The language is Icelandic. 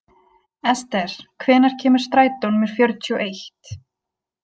Esther, hvenær kemur strætó númer fjörutíu og eitt?